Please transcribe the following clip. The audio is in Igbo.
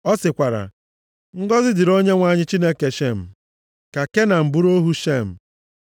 Ọ sịkwara, “Ngọzị dịrị Onyenwe anyị Chineke Shem. Ka Kenan bụrụ ohu Shem.